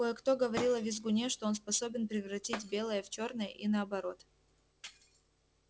кое-кто говорил о визгуне что он способен превратить белое в чёрное и наоборот